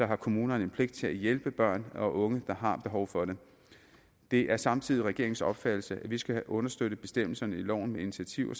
har kommunerne pligt til at hjælpe børn og unge der har behov for det det er samtidig regeringens opfattelse at vi skal have understøttet bestemmelserne i loven med initiativer